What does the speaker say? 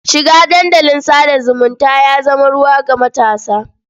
Shiga dandalin sa da zumunta ya zama ruwan ga matasa.